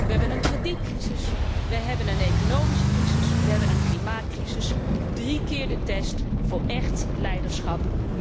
We hebben een kredietcrisis, we hebben een economische crisis, we hebben een klimaatcrisis, drie keer de test voor echt leiderschap.